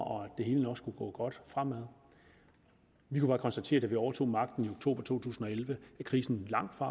og at det hele nok skulle gå godt fremad vi kan bare konstatere da vi overtog magten i oktober to tusind og elleve at krisen langtfra